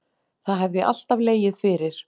Það hefði alltaf legið fyrir